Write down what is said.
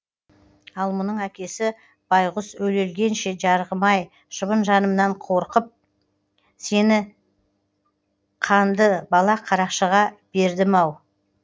ал мұның әкесі байғұс өле өлгенше жарығым ай шыбын жанымнан қорқып сені қанды балақ қарақшыға бердім ау